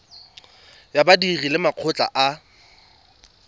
ya badiri le makgotla a